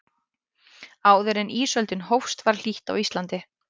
áður en ísöldin hófst var hlýtt á íslandi